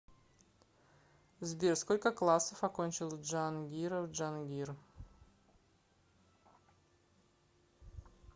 сбер сколько классов окончил джангиров джангир